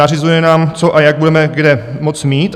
Nařizuje nám, co a jak budeme kde moct mít.